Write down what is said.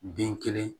Den kelen